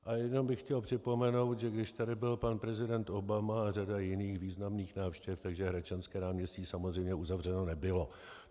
A jenom bych chtěl připomenout, že když tady byl pan prezident Obama a řada jiných významných návštěv, tak Hradčanské náměstí samozřejmě uzavřeno nebylo.